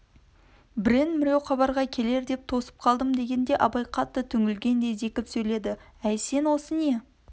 біреу-міреу хабарға келер деп тосып қалдым дегенде абай қатты түңілгендей зекіп сөйледі әй сен осы не